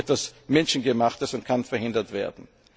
sie ist etwas Menschengemachtes und kann verhindert werden.